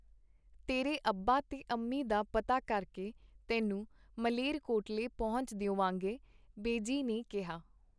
ਤੇਰੇ ਅੱਬਾ ਤੇ ਅੰਮੀ ਦਾ ਪਤਾ ਕਰਕੇ ਤੈਨੂੰ ਮਲੇਰਕੋਟਲੇ ਪਹੁੰਚਾ ਦੇਵਾਂਗੇ, ਬੇਜੀ ਨੇ ਕਿਹਾ.